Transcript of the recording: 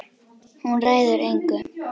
Hún ræður engu.